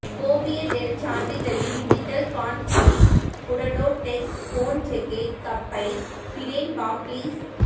கோபிய டெல் சான்றிதழின் டிஜிட் கான்ஃபிளிஃபுடடோ டெக் கோன்ஜெகெக் கப் பை பிடென் பாப்ளிஸ்